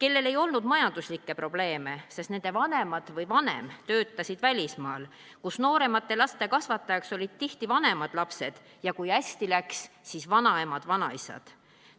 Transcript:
kellel ei olnud majanduslikke probleeme, sest nende vanemad või vanem töötasid välismaal, kus nooremate laste kasvatajaks olid tihti vanemad lapsed ja kui hästi läks, siis vanaemad-vanaisad.